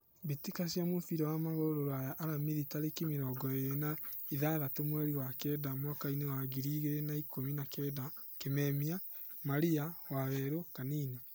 mbĩtĩka cia mũbira wa magũrũ Ruraya Aramithi tarĩki mĩrongo ĩrĩ na igathatũ mweri wa kenda mwakainĩ wa ngiri igĩrĩ na ikũmi na kenda: Kimemia, Maria, Waweru, Kanini.